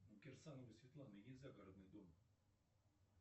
у кирсановой светланы есть загородный дом